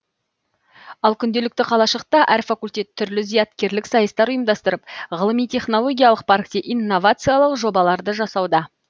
ал күнделікті қалашықта әр факультет түрлі зияткерлік сайыстар ұйымдастырып ғылыми технологиялық паркте инновациялық жобаларды жасауда